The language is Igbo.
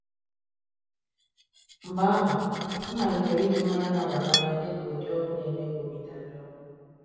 Mgbe ahụ, m malitere iji mmanya na-aba n’anya dị ka ụdị ọgwụ na-eme ka obi dajụọ.